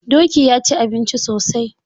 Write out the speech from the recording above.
Doki ya ci abinci sosai.